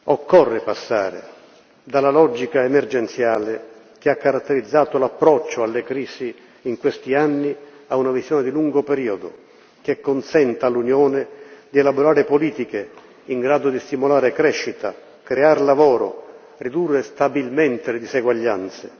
Occorre passare dalla logica emergenziale, che ha caratterizzato l'approccio alle crisi in questi anni, a una visione di lungo periodo, che consenta all'Unione di elaborare politiche in grado di stimolare crescita, creare lavoro, ridurre stabilmente le diseguaglianze.